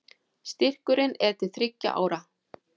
Styrkurinn er til þriggja ára